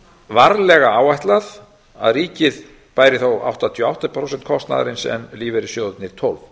varlega áætlað að ríkið bæri áttatíu og átta prósent kostnaðarins en lífeyrissjóðirnir tólf